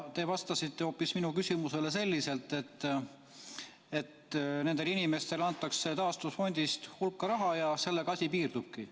Te vastasite minu küsimusele hoopis selliselt, et nendele inimestele antakse taastusfondist hulka raha ja sellega asi piirdubki.